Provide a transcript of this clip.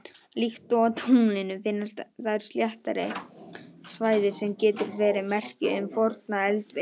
Líkt og á tunglinu finnast þar sléttari svæði sem gætu verið merki um forna eldvirkni.